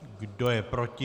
Kdo je proti?